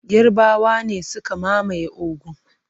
Yarbawa ne suka mamaye Ogun.